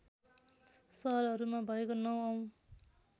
सहरहरूमा भएको ९ औँ